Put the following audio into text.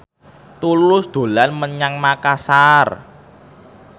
Tulus dolan menyang Makasar